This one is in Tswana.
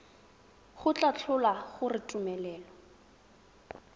go tla tlhola gore tumelelo